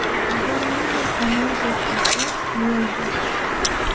Agar ming yil amal deb qilsa, yeldir!.